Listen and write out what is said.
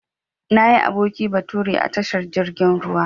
Nayi aboki bature a tashar jirgin ruwa.